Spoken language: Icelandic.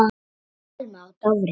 Thelma og Dofri.